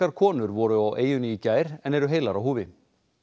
konur voru á eyjunni í gær en eru heilar á húfi